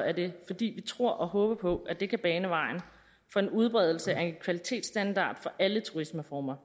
er det fordi vi tror og håber på at det kan bane vejen for en udbredelse af en kvalitetsstandard for alle turismeformer